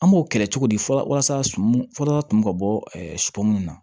An b'o kɛlɛ cogo di fɔlɔ walasa sumu fɔlɔ kun ka bɔ supɔmuw na